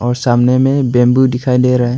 और सामने में बंबू दिखाई दे रहा है।